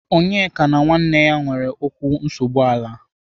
Onyeka na nwanne ya nwere okwu nsogbu ala.